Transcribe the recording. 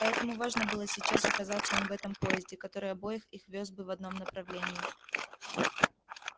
поэтому важно было сейчас оказаться им в этом поезде который обоих их вёз бы в одном направлении